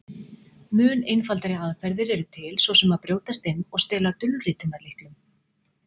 Mun einfaldari aðferðir eru til, svo sem að brjótast inn og stela dulritunarlyklum.